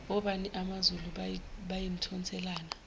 obani amazulu bayimthonselana